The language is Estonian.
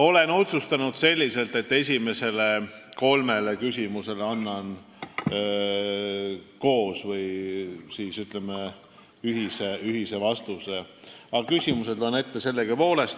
Olen otsustanud selliselt, et annan esimesele kolmele küsimusele ühise vastuse, aga küsimused loen ette sellegipoolest.